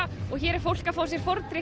og hér er fólk að fá sér fordrykk